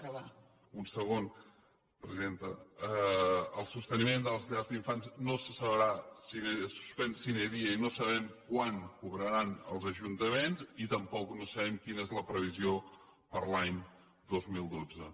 un segon presidenta el sosteniment de les llars d’infants no se sabrà si es suspèn sine diei no sabem quan cobraran els ajuntaments i tampoc no sabem quina és la previsió per a l’any dos mil dotze